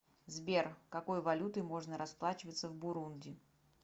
сбер какой валютой можно расплачиваться в бурунди